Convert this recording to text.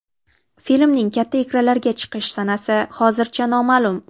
Filmning katta ekranlarga chiqish sanasi hozircha noma’lum.